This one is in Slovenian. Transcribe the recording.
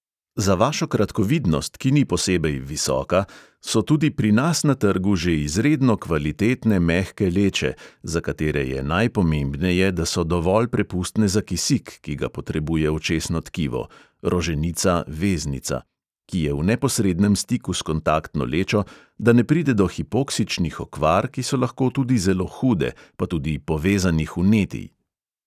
Za vašo kratkovidnost, ki ni posebej visoka, so tudi pri nas na trgu že izredno kvalitetne mehke leče, za katere je najpomembneje, da so dovolj prepustne za kisik, ki ga potrebuje očesno tkivo (roženica, veznica), ki je v neposrednem stiku s kontaktno lečo, da ne pride do hipoksičnih okvar, ki so lahko tudi zelo hude, pa tudi povezanih vnetij.